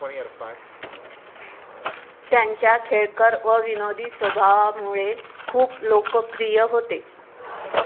त्यांच्या खेळकर व विनोदी स्वभावामुळे खूप लोकप्रिय होते.